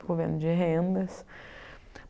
Fico vivendo de rendas.